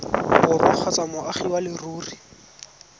borwa kgotsa moagi wa leruri